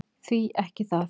Því ekki það!